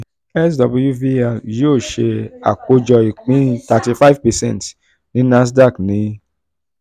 swvl yóò ṣe àkójọ ìpín thirty-five percent ní nasdaq ní q one